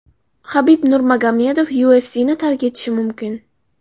Habib Nurmagomedov UFC’ni tark etishi mumkin.